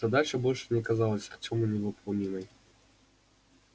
задача больше не казалась артёму невыполнимой